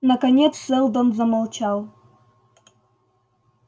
наконец сэлдон замолчал